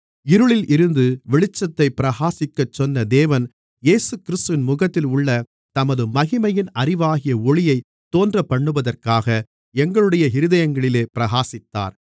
இருளில் இருந்து வெளிச்சத்தைப் பிரகாசிக்கச்சொன்ன தேவன் இயேசுகிறிஸ்துவின் முகத்தில் உள்ள தமது மகிமையின் அறிவாகிய ஒளியைத் தோன்றப்பண்ணுவதற்காக எங்களுடைய இருதயங்களிலே பிரகாசித்தார்